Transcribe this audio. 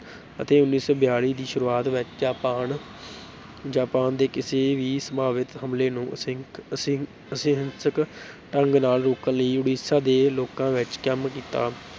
ਅਤੇ ਉੱਨੀ ਸੌ ਬਿਆਲੀ ਦੀ ਸ਼ੁਰੂਆਤ ਵਿੱਚ ਜਾਪਾਨ ਜਾਪਾਨ ਦੇ ਕਿਸੇ ਵੀ ਸੰਭਾਵਿਤ ਹਮਲੇ ਨੂੰ ਅਸਿੰਕ ਢੰਗ ਨਾਲ ਰੋਕਣ ਲਈ ਉੜੀਸਾ ਦੇ ਲੋਕਾਂ ਵਿੱਚ ਕੰਮ ਕੀਤਾ।